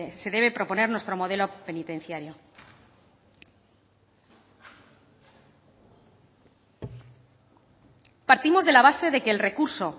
se debe proponer nuestro modelo penitenciario partimos de la base de que el recurso